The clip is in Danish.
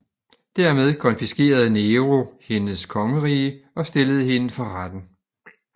Dermed konfiskerede Nero hendes kongerige og stillede hende for retten